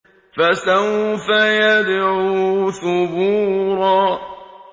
فَسَوْفَ يَدْعُو ثُبُورًا